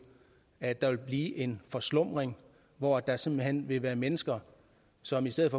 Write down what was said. at der vil blive en forslumning hvor der simpelt hen vil være mennesker som i stedet